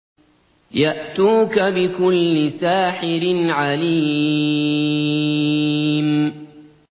يَأْتُوكَ بِكُلِّ سَاحِرٍ عَلِيمٍ